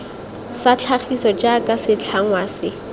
sa tlhagiso jaaka setlhangwa se